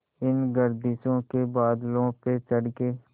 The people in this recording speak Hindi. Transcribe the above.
इन गर्दिशों के बादलों पे चढ़ के